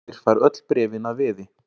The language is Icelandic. Hurðaskellir fær öll bréfin að veði.